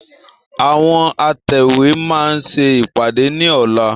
Àwọn atẹ̀wé máa ṣe ìpàdé ni ọ̀la.